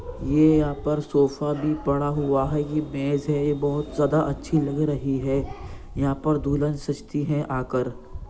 ये यहाँ पर सोफा भी पड़ा हुआ है ये मेज है बहोत ज्यादा अच्छी लग रही है | यहाँ पर दुल्हन सजती है आकर।